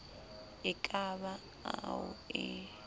e ka ba ao e